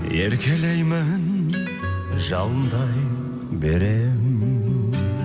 еркелеймін жалындай беремін